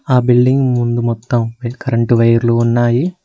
ఆ బిల్డింగ్ ముందు మొత్తం కరెంటు వైర్లు ఉన్నాయి.